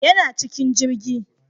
Yana cikin jirgi